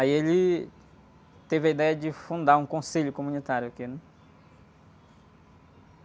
Aí ele teve a ideia de fundar um conselho comunitário aqui, né?